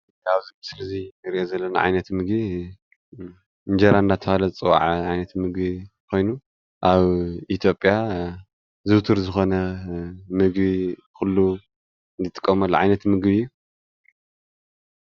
ኣብዚ ምስሊ እዚ እንሪኦም ዘለና ዓይነት ምግቢ እንጀራ እናተባህለ ዝፅዋዕ ዓይነት ምግቢ ኮይኑ ኣብ ኢትዮጵያ ዝውቱር ዝኮነ ምግቢ ኩሉ ዝጥቀመሉ ዓይነት ምግቢ እዩ፡፡